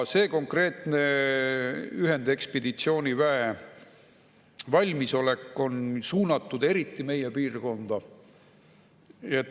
See konkreetne ühendekspeditsiooniväe valmisolek on suunatud eriti meie piirkonda.